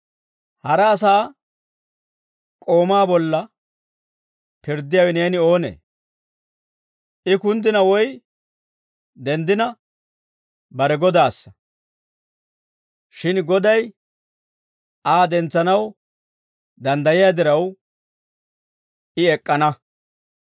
Hara asaa k'oomaa bolla pirddiyaawe neeni oonee? I kunddina woy denddina bare Godaassa; shin Goday Aa dentsanaw danddayiyaa diraw, I ek'k'ana.